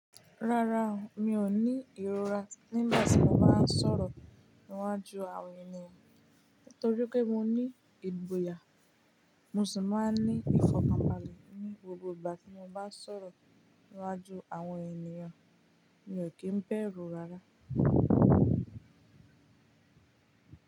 Rárá, mi ò ní ìrora nígbà tí mo bá ń sọ̀rọ̀ níwájú àwọn ènìyàn. Nítorí pé mo ní ìgboyà, mo sì máa ń ní ìfọ̀kànbalẹ̀ ní gbogbo ìgbà tí mo bá ń sọ̀rọ̀ níwájú àwọn ènìyàn. Mi ò kí ń bẹ̀rù rárá.